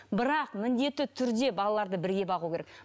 бірақ міндетті түрде балаларды бірге бағу керек